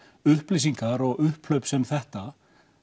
upplýsingar og upphlaup sem þetta